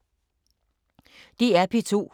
DR P2